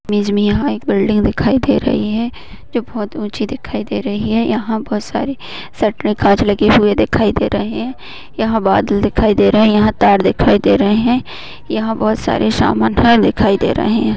Image में यहाँ एक बिल्डिंग दिखाई दे रही है जो बोहुत ऊंची दिखाई दे रही है यहाँ बोहोत सारे शटरें कांच लगे हुए दिखाई दे रहें है | यहाँ बादल दिखाई दे रहें है यहाँ तार दिखाई दे रहें है यहाँ बोहोत सारे सामान दिखाई दे रहे हैं।